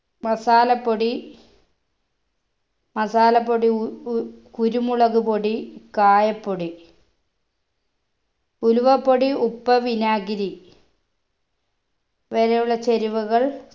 masala പൊടി masala പ്പൊടി ഉ ഉ കുരുമുളക് പൊടി കായപ്പൊടി ഉലുവപ്പൊടി ഉപ്പ് വിനാഗിരി വരെയുള്ള ചേരുവകൾ